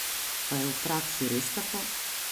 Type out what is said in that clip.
Pa je v praksi res tako?